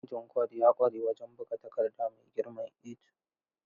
Injin Kord ya ƙware wajen buga takarda mai girman A2.